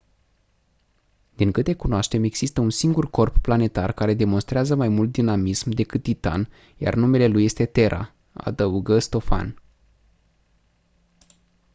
din câte cunoaștem există un singur corp planetar care demonstrează mai mult dinamism decât titan iar numele lui este terra adăugă stofan